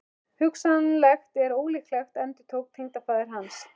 Hugsanlegt en ólíklegt endurtók tengdafaðir hans.